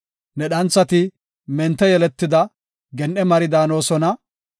Ne dhanthati mente yeletida, gen7e mari daanosona.